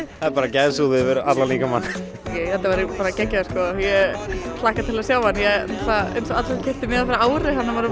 það er bara gæsahúð yfir allan líkamann þetta verður bara geggjað sko ég hlakka til að sjá hann ég keypti miða fyrir ári